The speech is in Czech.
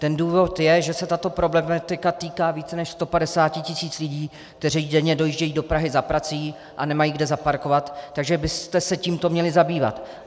Ten důvod je, že se tato problematika týká více než 150 tisíc lidí, kteří denně dojíždějí do Prahy za prací a nemají kde zaparkovat, takže byste se tímto měli zabývat.